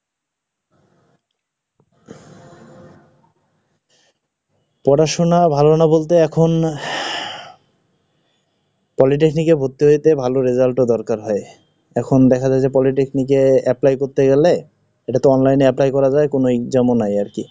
পড়াশোনা ভালো না বলতে, এখন Polytechnic কে ভর্তি হইতে ভালো result ও দরকার হয়। এখন দেখা যায় যে polytechnic এ apply করতে গেলে, এটা তো Online এ apply করা যায় কোনো exam ও নাই, আর কি।